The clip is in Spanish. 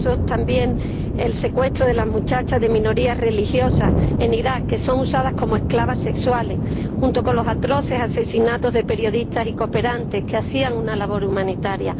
el caso también del secuestro de las muchachas de minorías religiosas en Irak, que son usadas como esclavas sexuales o los atroces asesinatos de periodistas y cooperantes que hacían una labor humanitaria.